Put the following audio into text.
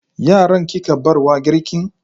Yaran kika barwa girkin?